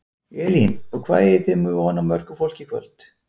Elín: Og hvað eigið þið von á mörgu fólki í kvöld?